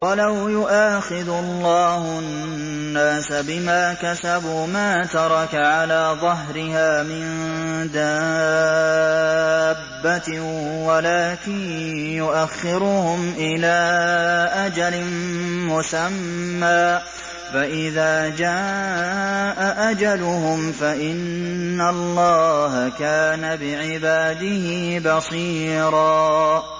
وَلَوْ يُؤَاخِذُ اللَّهُ النَّاسَ بِمَا كَسَبُوا مَا تَرَكَ عَلَىٰ ظَهْرِهَا مِن دَابَّةٍ وَلَٰكِن يُؤَخِّرُهُمْ إِلَىٰ أَجَلٍ مُّسَمًّى ۖ فَإِذَا جَاءَ أَجَلُهُمْ فَإِنَّ اللَّهَ كَانَ بِعِبَادِهِ بَصِيرًا